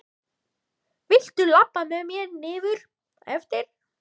Viltu labba með mér niður eftir?